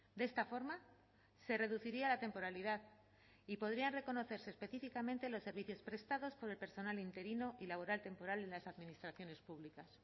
de esta forma se reduciría la temporalidad y podrían reconocerse específicamente los servicios prestados por el personal interino y laboral temporal en las administraciones públicas